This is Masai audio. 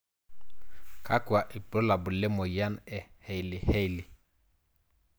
Kakwa ibulabul lemoyian e Hailey Hailey?